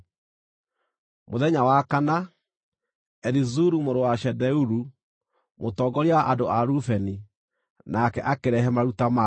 Mũthenya wa kana, Elizuru mũrũ wa Shedeuru, mũtongoria wa andũ a Rubeni, nake akĩrehe maruta make.